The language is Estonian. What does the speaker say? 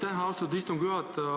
Aitäh, austatud istungi juhataja!